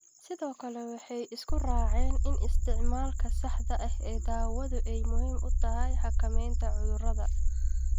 Sidoo kale, waxay isku raaceen in isticmaalka saxda ah ee daawadu ay muhiim u tahay xakamaynta cudurrada